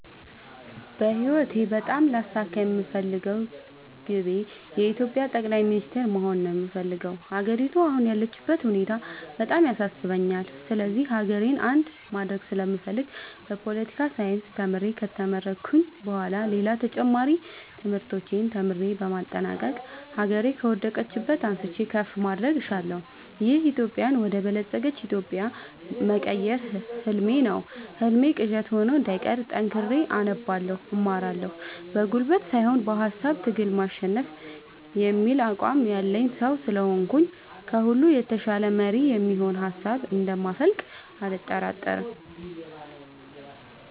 በህይወቴ በጣም ላሳካ የምፈልገው ግቤ የኢትዮጵያ ጠቅላይ ሚኒስተር መሆን ነው የምፈልገው። ሀገሪቱ አሁን ያለችበት ሁኔታ በጣም ያሳስበኛል ስለዚህ ሀገሬን አንድ ማድረግ ስለምፈልግ በፓለቲካል ሳይንስ ተምሬ ከተመረኩኝ በኋላ ሌላም ተጨማሪ ትምህርቶችን ተምሬ በማጠናቀቅ ሀገሬ ከወደቀችበት አንስቼ ከፍ ማድረግ እሻለሁ። ደሀ ኢትዮጵያን ወደ በለፀገች ኢትዮጵያ መቀየር ህልሜ ነው ህልሜ ቅዠት ሆኖ እንዳይቀር ጠንክሬ አነባለሁ እማራለሁ። በጉልበት ሳይሆን በሃሳብ ትግል ማሸነፍ የሚል አቋም ያለኝ ሰው ስለሆንኩኝ ከሁሉ የተሻለ መሪ የሚሆን ሀሳብ እንደ ማፈልቅ አልጠራጠርም።